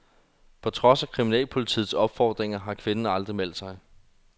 På trods af kriminalpolitiets opfordringer har kvinden aldrig meldt sig.